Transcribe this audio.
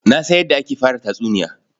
Na san yadda ake fara tatsuniya.